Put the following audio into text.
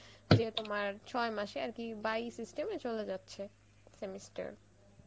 যে তোমার ছয় মাসে আরকি by system এ চলে যাচ্ছে semester